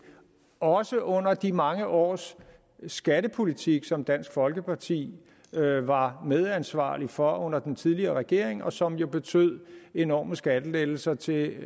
og også under de mange års skattepolitik som dansk folkeparti var medansvarlig for under den tidligere regering og som jo betød enorme skattelettelser til